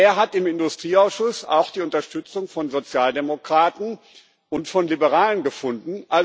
Dieser hat im Industrieausschuss auch die Unterstützung von Sozialdemokraten und von Liberalen gefunden.